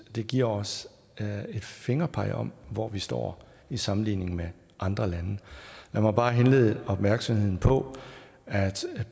det giver os et fingerpeg om hvor vi står i sammenligning med andre lande lad mig bare henlede opmærksomheden på at